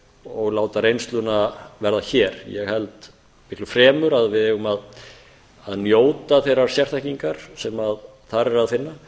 og láta reynsluna verða hér ég held fremur að við eigum að njóta þeirrar sérþekkingar sem þar er að finna